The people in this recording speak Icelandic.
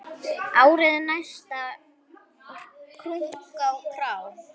Árið næsta, krunk og krá!